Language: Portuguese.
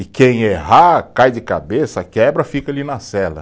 E quem errar, cai de cabeça, quebra, fica ali na cela.